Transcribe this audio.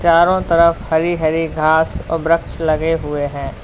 चारों तरफ हरी हरी घास और वृक्ष लगे हुए हैं।